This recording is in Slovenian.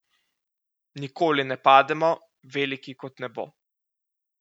Nikoli ne pademo, veliki kot nebo.